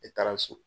Ne taara so